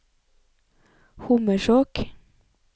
Hommersåk